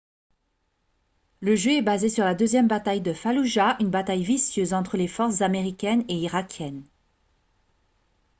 le jeu est basé sur la deuxième bataille de falloujah une bataille vicieuse entre les forces américaines et irakiennes